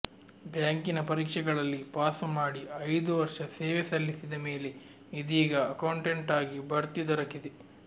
ಬ್ಯಾಂಕಿನ ಪರೀಕ್ಷೆಗಳಲ್ಲಿ ಪಾಸು ಮಾಡಿ ಐದು ವರ್ಷ ಸೇವೆ ಸಲ್ಲಿಸಿದ ಮೇಲೆ ಇದೀಗ ಅಕೌಂಟೆಂಟಾಗಿ ಬಡ್ತಿ ದೊರಕಿದೆ